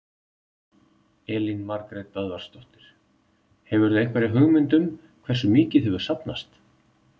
Elín Margrét Böðvarsdóttir: Hefurðu einhverja hugmynd um hversu mikið hefur safnast?